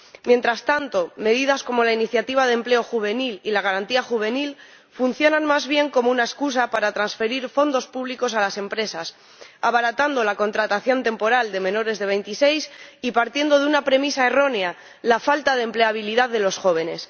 Mientras tanto, medidas como la Iniciativa de Empleo Juvenil y la Garantía Juvenil funcionan más bien como una excusa para transferir fondos públicos a las empresas, abaratando la contratación temporal de menores de 26 años y partiendo de una premisa errónea la falta de empleabilidad de los jóvenes.